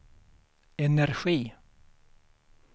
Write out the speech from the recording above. energi